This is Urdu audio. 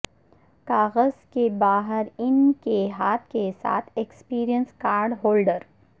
کاغذ کے باہر ان کے ہاتھ کے ساتھ ایکسپریس کارڈ ہولڈر